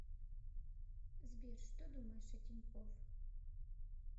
сбер что думаешь о тинькоф